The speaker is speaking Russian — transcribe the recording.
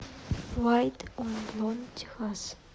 вайт он блонд техас